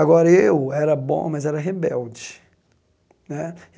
Agora, eu era bom, mas era rebelde né.